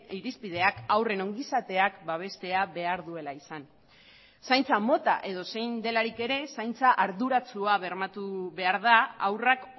irizpideak haurren ongizateak babestea behar duela izan zaintza mota edozein delarik ere zaintza arduratsua bermatu behar da haurrak